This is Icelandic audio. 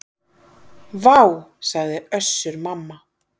Vá, sagði Össur-Mamma.